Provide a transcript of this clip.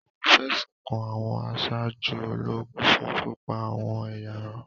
Wọ́n fẹ̀sùn kan àwọn aṣáájú ológun fun pipa awọ́n eyarun